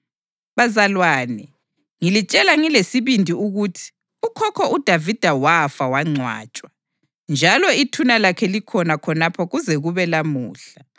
Bazalwane, ngilitshela ngilesibindi ukuthi ukhokho uDavida wafa wangcwatshwa, njalo ithuna lakhe likhona khonapha kuze kube lamuhla.